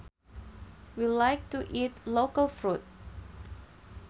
We like to eat local fruit